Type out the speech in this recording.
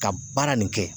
Ka baara nin kɛ